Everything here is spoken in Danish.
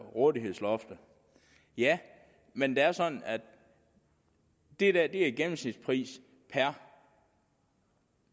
rådighedsloftet ja men det er sådan at det er en gennemsnitspris per